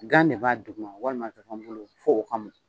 Gan ne b'a duguma walima zɔfɔn bulu fo o ka mɔn.